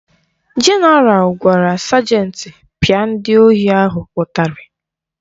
Jenaral gwara sajenti pịa ndị ohi ahụ ụtarị